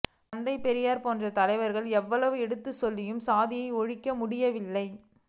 தந்தை பெரியார் போன்ற தலைவர்கள் எவ்வளவு எடுத்துச் சொல்லியும் சாதியை ஒழிக்க முடியவில்லை